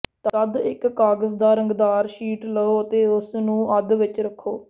ਤਦ ਇੱਕ ਕਾਗਜ਼ ਦਾ ਰੰਗਦਾਰ ਸ਼ੀਟ ਲਓ ਅਤੇ ਉਸਨੂੰ ਅੱਧ ਵਿੱਚ ਰੱਖੋ